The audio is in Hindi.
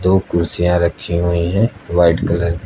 वो कुर्सियां रखी हुई हैं वाइट कलर --